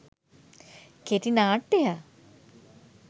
කෙටි නාට්‍ය